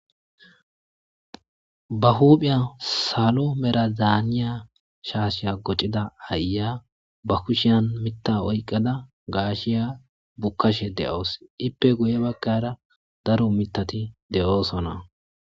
ba huuphiya salo merazaaniya shaasheya gocida aya ba kushiyan mitta oyqqada gaashiya bukkashe de'awus ippe guye bagara daro mitati de'oosona